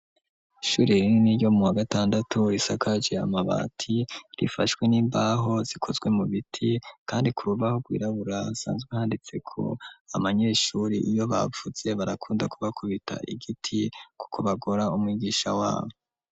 Shuri rine ni ryo mu w gatandatu risakaje yamabati rifashwe n'imbaho zikozwe mu biti, kandi ku rubaho rwirabura sanzwe handitseko abanyeshuri iyo bavuze barakunda kubakubita igiti, kuko bagora umwigisha wabo.